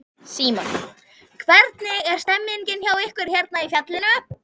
Símon: Hvernig er stemningin hjá ykkur hérna í fjallinu?